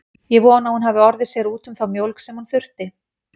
Ég vona að hún hafi orðið sér úti um þá mjólk sem hún þurfti.